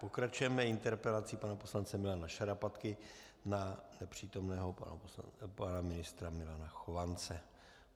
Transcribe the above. Pokračujeme interpelací pana poslance Milana Šarapatky na nepřítomného pana ministra Milana Chovance.